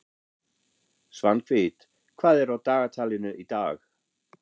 Svanhvít, hvað er á dagatalinu í dag?